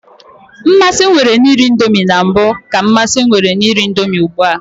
Mmasị m nwere na iri indomi na mbụ ka mmasị m nwere na iri indomi ugbua.